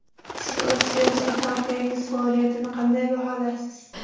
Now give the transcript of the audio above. Siz o‘z siyosiy partiyangiz faoliyatini qanday baholaysiz?